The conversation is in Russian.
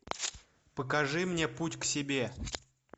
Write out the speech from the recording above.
покажи мне путь к себе